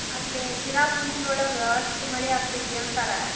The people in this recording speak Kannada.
ಅಲ್ಲೇ ಚಿರಾಪುಂಜಿ ಒಳಗ ಅಷ್ಟ್ ಮಳಿ ಆಗ್ತೇತಿ ಅಂತಾರ.